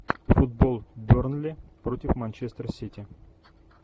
футбол бернли против манчестер сити